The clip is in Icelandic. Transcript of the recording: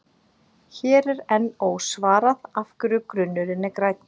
Hér er enn ósvarað af hverju grunurinn er grænn.